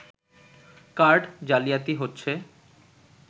card জালিয়াতি হচ্ছে